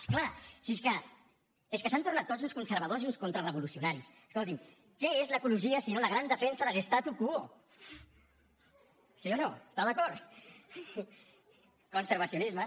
és clar si és que s’han tornat tots uns conservadors i uns contrarevolucionaris escolti’m què és l’ecologia si no la gran defensa de l’statu quoestà d’acord conservacionisme